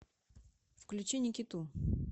включи никиту